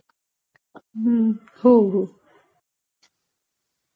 हम्म्म...हो हो